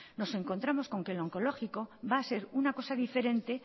nos encontramos con que el oncológico va a ser una cosa diferente